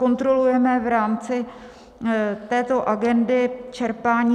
Kontrolujeme v rámci této agendy čerpání.